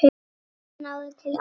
Hann náði til allra.